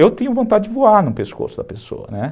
Eu tenho vontade de voar no pescoço da pessoa, né?